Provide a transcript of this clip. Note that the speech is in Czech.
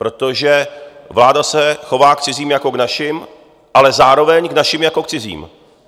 Protože vláda se chová k cizím jako k našim, ale zároveň k našim jako k cizím.